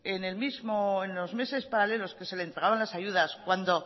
en los meses paralelos que se les pagaban las ayudas cuando